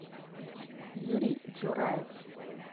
юрий джураев